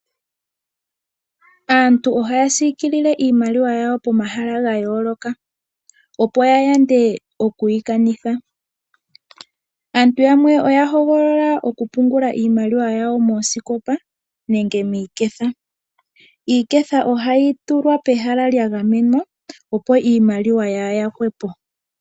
Aantu ohaya siikilile iimaliwa yawo pomahala ga yooloka, opo ya yande okuyi kanitha. Aantu yamwe oya hogolola oku pungula iimaliwa yawo moosikopa nenge miiketha. Iiketha ohayi tulwa pehala lya gamenwa opo iimaliwa yaa yakwepo.